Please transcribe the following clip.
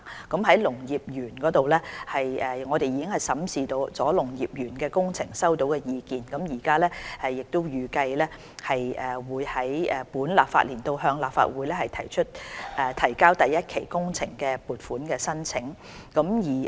在農業園方面，政府已審視農業園工程所收到的意見，預計於本立法年度向立法會提交第一期工程的撥款申請。